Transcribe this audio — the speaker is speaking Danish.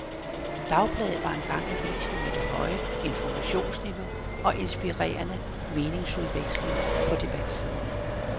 Dagbladet var engang avisen med det høje informationsniveau og inspirerende meningsudvekslinger på debatsiderne.